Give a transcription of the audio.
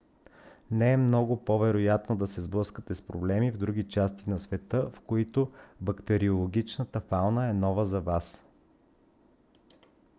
но е много по - вероятно да се сблъскате с проблеми в други части на света в които бактериологичната фауна е нова за вас